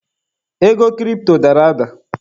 Ego kiripto dara ada.